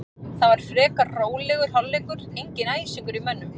Það var frekar rólegur hálfleikur, enginn æsingur í mönnum.